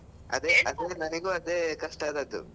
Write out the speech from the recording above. ಅದೇ ಅದೇ ನನಿಗೂ ಅದೇ ಕಷ್ಟ ಆದದ್ದು.